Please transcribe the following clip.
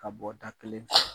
Ka bɔ da kelen